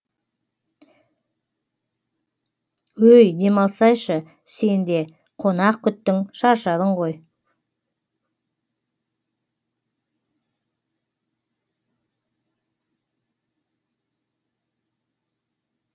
өй демалсайшы сен де қонақ күттің шаршадың ғой